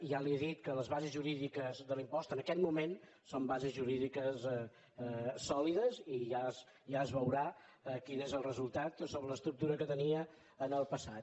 ja li he dit que les bases jurídiques de l’impost en aquest moment són bases jurídiques sòlides i ja es veurà quin és el resultat sobre l’estructura que tenia en el passat